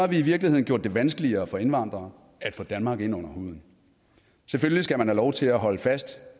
vi i virkeligheden gjort det vanskeligere for indvandrere at få danmark ind under huden selvfølgelig skal man have lov til at holde fast